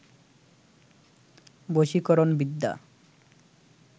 বশীকরণ বিদ্যা